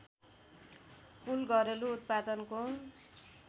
कुल घरेलु उत्पादनको